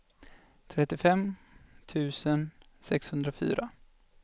trettiofem tusen sexhundrafyra